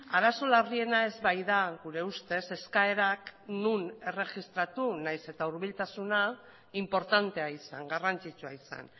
arazo larriena ez baita gure ustez eskaerak non erregistratu nahiz eta hurbiltasuna inportantea izan garrantzitsua izan